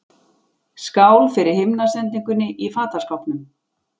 Skál fyrir himnasendingunni í fataskápnum!